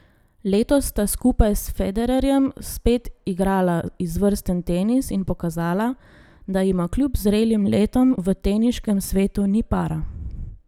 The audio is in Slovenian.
Letos sta skupaj s Federerjem spet igrala izvrsten tenis in pokazala, da jima kljub zrelim letom v teniškem svetu ni para.